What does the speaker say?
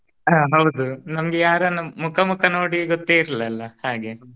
ಹಾ ಹೌದು ನಮಗೆ ಯಾರನ್ನು ಮುಖ ಮುಖ ನೋಡಿ ಗೊತ್ತೆ ಇರಲಿಲ್ಲ ಅಲ್ಲಾ ಹಾಗೆ.